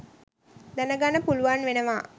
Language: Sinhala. දැනගන්න පුලුවන් වෙනවා.